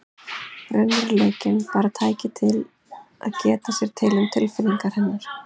Raunveruleikinn bara tæki til að geta sér til um tilfinningar hennar.